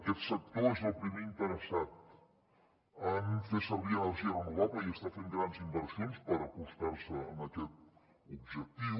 aquest sector és el primer interessat en fer servir energia renovable i està fent grans inversions per acostar se a aquest objectiu